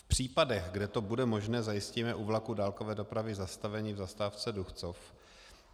V případech, kdy to bude možné, zajistíme u vlaků dálkové dopravy zastavení v zastávce Duchcov.